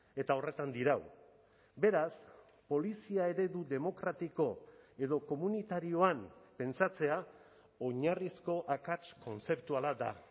eta horretan dirau beraz polizia eredu demokratiko edo komunitarioan pentsatzea oinarrizko akats kontzeptuala da